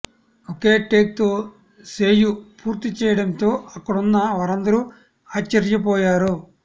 ఒకే take తో సేయు పూర్తి చేయడంతో అక్కడున్న వారందరూ ఆశ్చర్యపోయారు